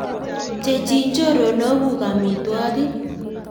Pcheichi chorwokuk amitwokik